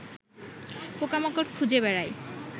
পোকামাকড় খুঁজে বেড়ায়